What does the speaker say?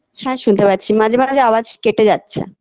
হ্যাঁ শুনতে পাচ্ছি মাঝে মাঝে আওয়াজ কেটে যাচ্ছে